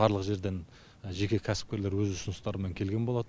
барлық жерден жеке кәсіпкерлер өз ұсыныстарымен келген болатын